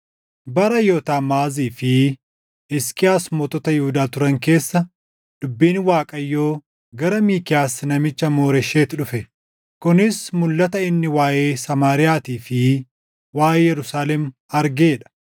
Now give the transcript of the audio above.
Bara Yootaam, Aahaazii fi Hisqiyaas mootota Yihuudaa turan keessa dubbiin Waaqayyoo gara Miikiyaas namicha Mooresheet dhufe; kunis mulʼata inni waaʼee Samaariyaatii fi waaʼee Yerusaalem argee dha.